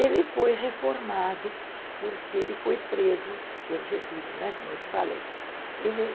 Ele foi reformado porque ele foi preso pelo Getúlio, né, como eu te falei. Ele